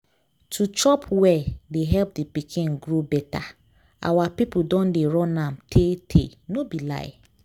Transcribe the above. to chop well dey help the pikin grow better. our people don dey run am tey tey no be lie.